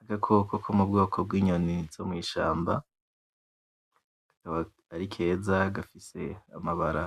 Agakoko ko m’ubwoko zo mu ishamba akaba ari keza gafise amabara